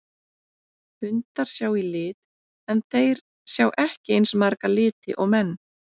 Hundar sjá í lit en þeir sjá ekki eins marga liti og menn.